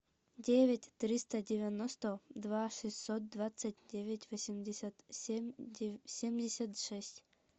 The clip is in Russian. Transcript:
девять триста девяносто два шестьсот двадцать девять восемьдесят семь семьдесят шесть